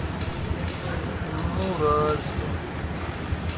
южноуральском